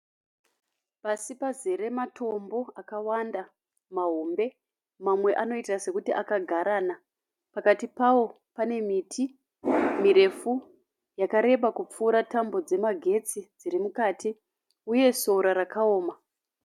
Pasi pazere matombo akawanda mahombe. Mamwe anoita sekuti akagarana pakati pao pane miti mirefu yakareba kupfuura tambo dzema getsi dziri mukati uye sora rakaoma.